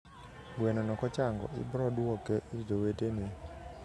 gweno no kochango iboduoke ir jowetege